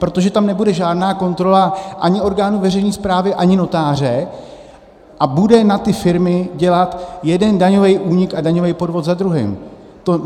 Protože tam nebude žádná kontrola ani orgánu veřejné správy, ani notáře a bude na ty firmy dělat jeden daňový únik a daňový podvod za druhým.